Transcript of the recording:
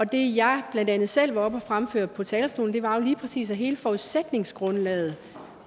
det jeg blandt andet selv var oppe at fremføre på talerstolen var jo lige præcis at hele forudsætningsgrundlaget